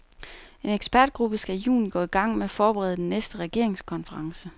En ekspertgruppe skal i juni gå i gang med at forberede den næste regeringskonference.